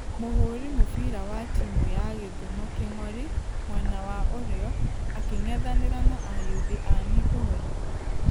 Mũhũri mũbira wa timũ ya gĩthumo kingori (mwena wa ũrĩo) akĩngethanĩra na ayuthi a migori.